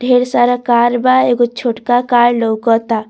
ढेर सारा कार बा एगो छोटका कार लोकता।